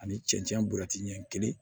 Ani cɛncɛn bulutiɲɛ kelen